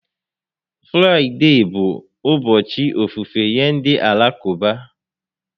Fraịde bụ ụbọchị ofufe nye ndị Alakụba